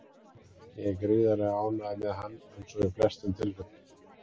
Ég er gríðarlega ánægður með hann eins og í flestum tilfellum.